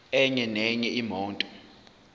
enye nenye imoto